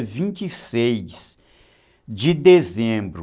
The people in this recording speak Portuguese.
vinte e seis de dezembro